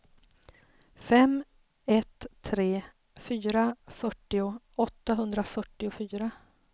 fem ett tre fyra fyrtio åttahundrafyrtiofyra